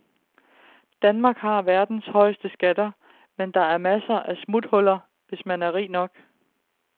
Danmark har verdens højeste skatter, men der er masser af smuthuller, hvis man er rig nok.